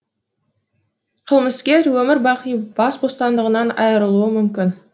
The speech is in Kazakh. қылмыскер өмір бақи бас бостандығынан айырылуы мүмкін